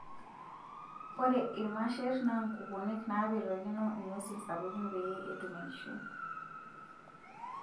Ore irmasher naa nkukunik naapetokino ng'wesin sapuki peyie etum enkishui.